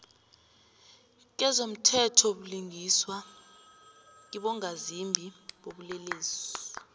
kezomthethobulungiswa kibongazimbi bobulelesi